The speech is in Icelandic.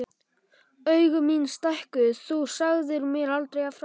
Augu mín stækkuðu: Þú sagðir mér aldrei frá því!